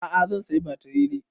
A'a zan saya batriri